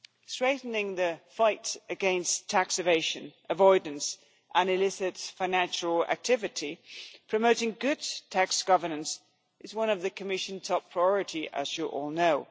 Strengthening the fight against tax evasion, avoidance and illicit financial activity, promoting good tax governance, is one of the Commission's top priorities, as you all know.